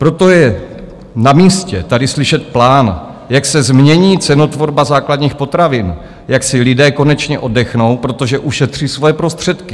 Proto je na místě tady slyšet plán, jak se změní cenotvorba základních potravin, jak si lidé konečně oddechnou, protože ušetří svoje prostředky.